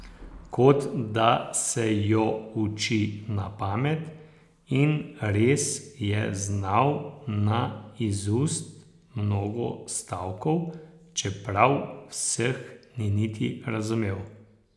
Kot da se jo uči na pamet, in res je znal na izust mnogo stavkov, čeprav vseh ni niti razumel.